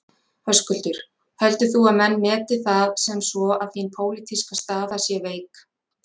Höskuldur: Heldur þú að menn meti það sem svo að þín pólitíska staða sé veik?